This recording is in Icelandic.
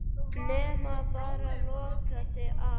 Nema bara loka sig af.